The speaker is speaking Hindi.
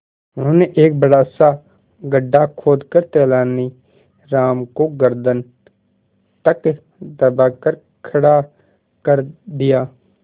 उन्होंने एक बड़ा सा गड्ढा खोदकर तेलानी राम को गर्दन तक दबाकर खड़ा कर दिया